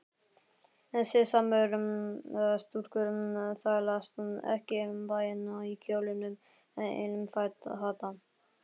Siðsamar stúlkur þvælast ekki um bæinn í kjólnum einum fata